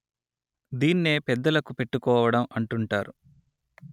దీన్నే పెద్దలకు పెట్టుకోవడం అంటుంటారు